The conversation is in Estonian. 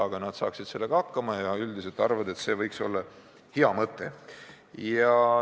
Aga nad saaksid sellega hakkama ja üldiselt arvavad, et see on hea mõte.